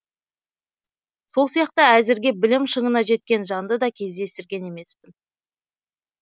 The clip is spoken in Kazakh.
сол сияқты әзірге білім шыңына жеткен жанды да кездестірген емеспін